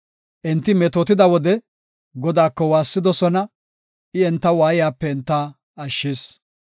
Enti metootida wode, Godaako waassidosona; I enta waayiyape enta ashshis.